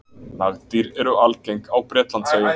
Nagdýr eru algeng á Bretlandseyjum.